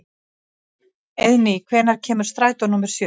Eiðný, hvenær kemur strætó númer sjö?